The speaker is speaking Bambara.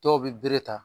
Dɔw bɛ bere ta